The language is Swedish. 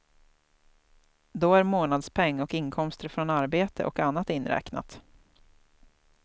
Då är månadspeng och inkomster från arbete och annat inräknat.